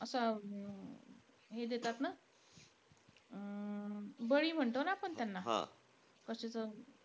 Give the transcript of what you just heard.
असं हे देतात ना, बळी म्हणतो ना आपण त्यांना?